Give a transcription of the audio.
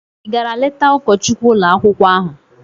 Ị gara leta ụkọchukwu ụlọ akwụkwọ ahụ?